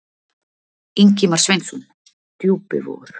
Í: Ingimar Sveinsson: Djúpivogur.